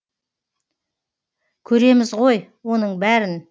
көреміз ғой оның бәрін